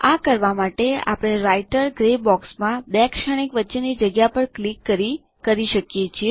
આ કરવા માટે આપણે રાઈટરન ગ્રે બોક્સમાં બે શ્રેણીક વચ્ચેની જગ્યા પર ક્લિક કરી કરી શકીએ છીએ